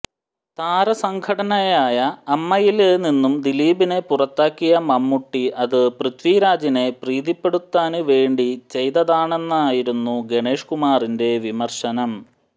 താരസംഘടനയായ അമ്മയില് നിന്നും ദിലീപിനെ പുറത്താക്കിയ മമ്മൂട്ടി അത് പൃഥ്വിരാജിനെ പ്രീതിപ്പെടുത്താന് വേണ്ടി ചെയ്തതാണെന്നായിരുന്നു ഗണേഷ് കുമാറിന്റെ വിമര്ശനം